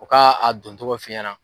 U ka a don cogo f'i ɲana.